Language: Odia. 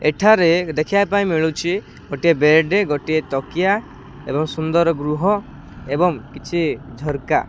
ଏଠାରେ ଦେଖିବା ପାଇଁ ମିଳୁଚି ଗୋଟିଏ ବେଡ୍ ଗୋଟିଏ ତକିଆ ଏବଂ ସୁନ୍ଦର ଗୃହ ଏବଂ କିଛି ଝରକା।